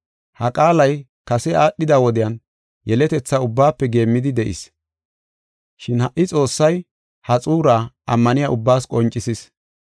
Ha qaalay kase aadhida wodiyan yeletethaa ubbaafe geemmidi de7is. Shin ha77i Xoossay ha xuuraa ammaniya ubbaas qoncisis.